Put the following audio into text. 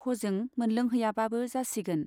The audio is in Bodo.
हजों मोनलोंहैयाबाबो जासिगोन।